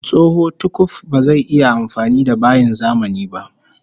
Tsoho tukuf bazai iya amfani da bayin zamani ba